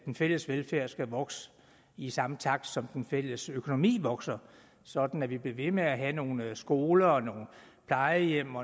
den fælles velfærd skal vokse i samme takt som den fælles økonomi vokser sådan at vi bliver ved med at have nogle skoler plejehjem